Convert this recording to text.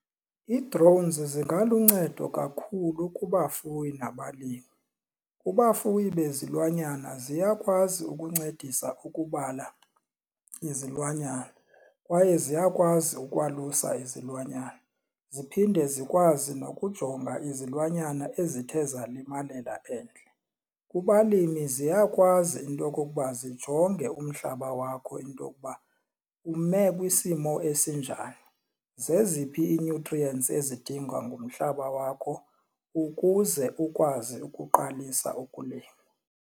Ii-drones zingaluncedo kakhulu kubafuyi nabalimi. Kubafuyi bezilwanyana ziyakwazi ukuncedisa ukubala izilwanyana kwaye ziyakwazi ukwalusa izilwanyana ziphinde zam zikwazi nokujonga izilwanyana ezithe zalimalela endle. Kubalimi ziyakwazi into okokuba zijonge umhlaba wakho into okuba ume kwisimo esinjani, zeziphi ii-nutrients ezidingwa ngumhlaba wakho ukuze ukwazi ukuqalisa ukulima.